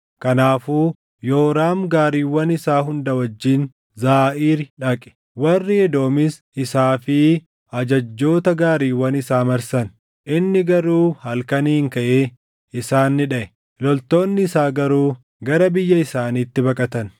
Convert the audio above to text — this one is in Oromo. Kanaafuu Yooraam gaariiwwan isaa hunda wajjin Zaaʼiiri dhaqe. Warri Edoomis isaa fi ajajjoota gaariiwwan isaa marsan; inni garuu halkaniin kaʼee isaan ni dhaʼe; loltoonni isaa garuu gara biyya isaaniitti baqatan.